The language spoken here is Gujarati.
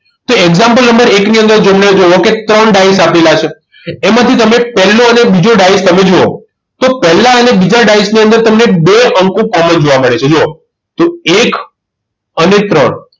તો example નંબર એક ની અંદર જેમને જુઓ કે ત્રણ ડાયસ આપેલા છે એમાંથી તમે પહેલો અને બીજો ડાયસ તમે જુઓ તો પહેલા અને બીજા ડાયસ ની અંદર તમને બે અંકો common જોવા મળે છે જોવો તો એક અને ત્રણ